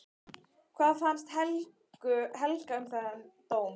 Hvað fannst Helga um þann dóm?